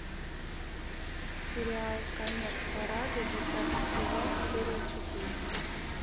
сериал конец парада десятый сезон серия четыре